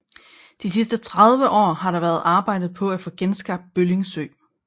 De sidste 30 år har der været arbejdet på at få genskabt Bølling Sø